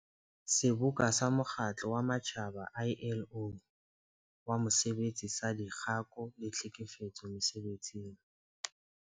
Seboka sa Mokgatlo wa Matjhaba ILO wa Mosebetsi saDikgako le Tlhekefetso Mese-betsing.